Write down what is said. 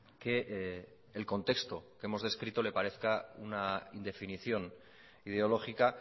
que el contexto que hemos descrito le parezca una indefinición ideológica